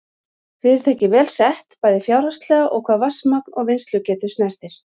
Fyrirtækið vel sett, bæði fjárhagslega og hvað vatnsmagn og vinnslugetu snertir.